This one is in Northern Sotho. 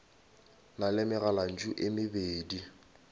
na le megalantšu e mebedi